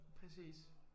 Præcis